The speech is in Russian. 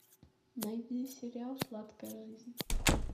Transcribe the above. найди сериал сладкая жизнь